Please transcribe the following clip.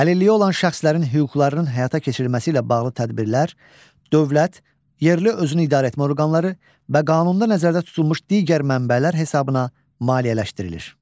Əlilliyi olan şəxslərin hüquqlarının həyata keçirilməsi ilə bağlı tədbirlər dövlət, yerli özünü idarəetmə orqanları və qanunda nəzərdə tutulmuş digər mənbələr hesabına maliyyələşdirilir.